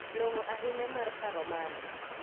Long'o ahinya mar paro mano.